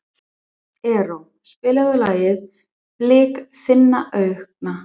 Erró, spilaðu lagið „Blik þinna augna“.